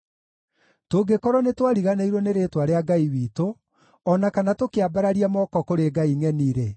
Tũngĩkorwo nĩtwariganĩirwo nĩ rĩĩtwa rĩa Ngai witũ, o na kana tũkĩambararia moko kũrĩ ngai ngʼeni-rĩ,